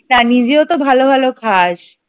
হ্যাঁ নিজেও তো ভালো ভালো খাস ।